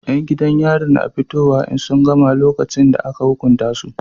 Yan gidan yari na fitowa in sun gama lokacin da aka hukunta su